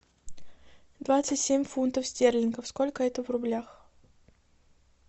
двадцать семь фунтов стерлингов сколько это в рублях